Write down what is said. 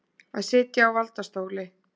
Að sitja á valdastóli